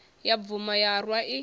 ya bvuma ya rwa i